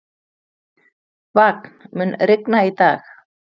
Vagn, mun rigna í dag?